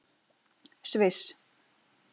Sviss